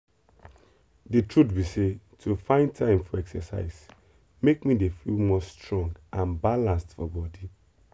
the truth be sey to find time for exercise make me dey feel more strong and balanced for body.